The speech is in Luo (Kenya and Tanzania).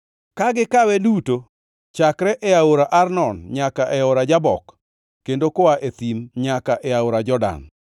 ka gikawe duto chakre e aora Arnon nyaka e aora Jabok kendo koa e thim nyaka e aora Jordan.